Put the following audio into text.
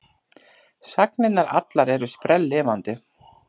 Sagnirnar allar eru sprelllifandi.